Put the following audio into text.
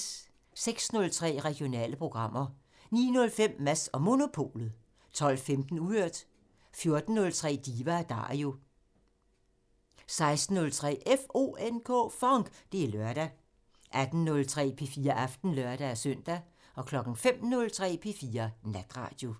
06:03: Regionale programmer 09:05: Mads & Monopolet 12:15: Uhørt 14:03: Diva & Dario 16:03: FONK! Det er lørdag 18:03: P4 Aften (lør-søn) 05:03: P4 Natradio